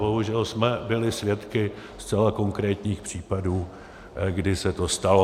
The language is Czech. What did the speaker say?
Bohužel jsme byli svědky zcela konkrétních případů, kdy se to stalo.